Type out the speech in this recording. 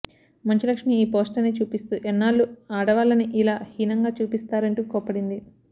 మంచు లక్ష్మి ఈ పోస్టర్ని చూపిస్తూ ఎన్నాళ్లు ఆడవాళ్లని ఇలా హీనంగా చూపిస్తారంటూ కోప్పడింది